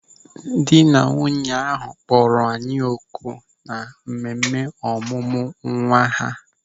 Dị na nwunye ahụ kpọrọ anyị oku na mmemme ọmụmụ nwa ha.